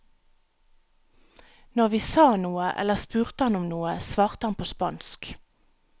Når vi sa noe eller spurte han om noe, svarte han på spansk.